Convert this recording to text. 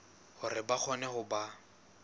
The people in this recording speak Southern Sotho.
hore ba kgone ho ba